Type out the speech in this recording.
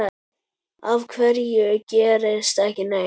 Af hverju gerist ekki neitt?